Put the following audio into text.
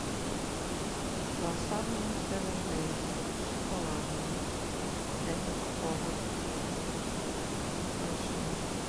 круассаны севен дейс с шоколадом пять упаковок большие